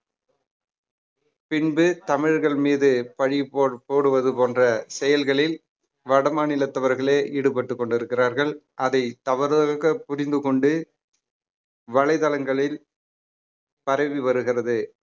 பின்பு தமிழர்கள் மீது பழி போல்~ போடுவது போன்ற செயல்களில் வட மாநிலத்தவர்களே ஈடுபட்டுக் கொண்டிருக்கிறார்கள் அதை தவறாக புரிந்து கொண்டு வலைதளங்களில் பரவி வருகிறது